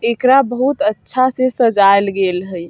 एकरा बहुत अच्छा से सज़ाएल गेल हई।